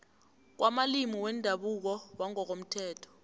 kwamalimi wendabuko wangokomthetho